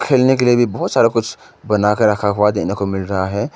खेलने के लिए भी बहोत सारा कुछ बना के रखा हुआ देखने को मिल रहा है।